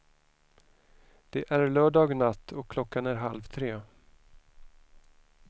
Det är lördag natt och klockan är halv tre.